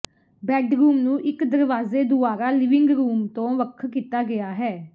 bedroom ਨੂੰ ਇੱਕ ਦਰਵਾਜ਼ੇ ਦੁਆਰਾ ਲਿਵਿੰਗ ਰੂਮ ਤੋਂ ਵੱਖ ਕੀਤਾ ਗਿਆ ਹੈ